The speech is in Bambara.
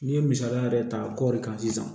N'i ye misaliya yɛrɛ ta kɔɔri kan sisan